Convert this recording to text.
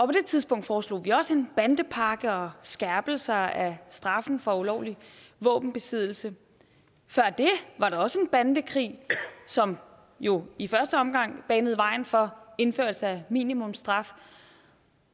på det tidspunkt foreslog vi også en bandepakke og skærpelser af straffen for ulovlig våbenbesiddelse før det var der også en bandekrig som jo i første omgang banede vejen for indførelse af minimumsstraf